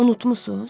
Unutmusuz?